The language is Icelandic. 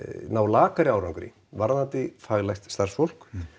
ná lakari árangri varðandi faglegt starfsfólk